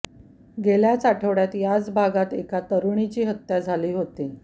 गेल्याच आठवड्यात याच भागात एका तरुणाची हत्या झाली होती